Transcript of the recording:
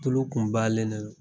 Tulo kun balenne ro.